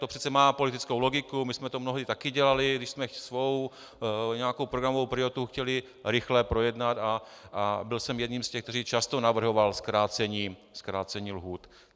To přece má politickou logiku, my jsme to mnohdy taky dělali, když jsme svou nějakou programovou prioritu chtěli rychle projednat, a byl jsem jedním z těch, kteří často navrhovali zkrácení lhůt.